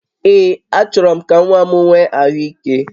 Ee, achọrọ m ka nwa m nwee ahụ ike